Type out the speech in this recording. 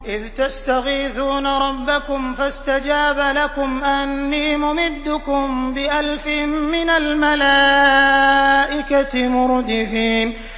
إِذْ تَسْتَغِيثُونَ رَبَّكُمْ فَاسْتَجَابَ لَكُمْ أَنِّي مُمِدُّكُم بِأَلْفٍ مِّنَ الْمَلَائِكَةِ مُرْدِفِينَ